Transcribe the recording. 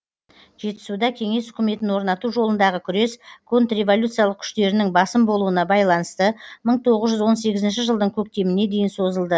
жетісуда кеңес үкіметін орнату жолындағы күрес контрреволюциялық күштерінің басым болуына байланысты мың тоғыз жүз он сегізінші жылдың көктеміне дейін созылды